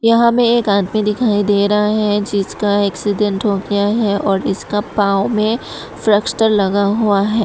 यहां में एक आदमी दिखाई दे रहा है जिसका एक्सीडेंट हो गया है और इसका पांव में प्लास्टर लगा हुआ है।